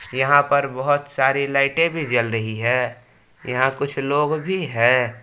यहां पर बहुत सारी लाइटें भी जल रही है यहां कुछ लोग भी है।